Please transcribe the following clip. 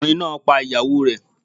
Ọkùnrin náà pa ìyàwó rẹ̀